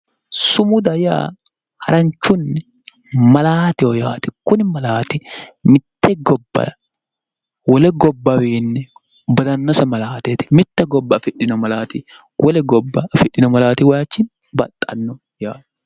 Sumuda yaa haranchunni malaateho yaate. kuni malaati mitte gobba wole gobbawiinni badannose malaateeti. mitte gobba afidhino malaati wole gobba afidhino malatiwaayiichinni baxxanno yaate.